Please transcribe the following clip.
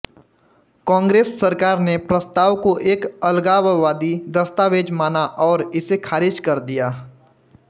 कांग्रेस सरकार ने प्रस्ताव को एक अलगाववादी दस्तावेज माना और इसे खारिज कर दिया